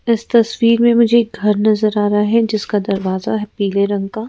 इस तस्वीर में मुझे एक घर नजर आ रहा है जिसका दरवाजा है पीले रंग का।